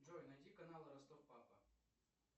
джой найди канал ростов папа